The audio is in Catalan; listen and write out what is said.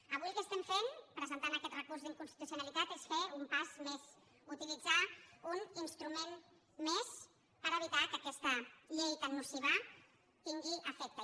avui el que fem presentant aquest recurs d’inconstitucionalitat és fer un pas més utilitzar un instrument més per evitar que aquesta llei tan nociva tingui efecte